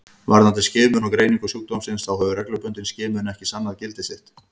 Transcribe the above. Varðandi skimun og greiningu sjúkdómsins þá hefur reglubundin skimun ekki sannað gildi sitt.